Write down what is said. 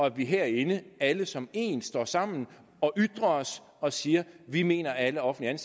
at vi herinde alle som en står sammen og ytrer os og siger vi mener at alle offentligt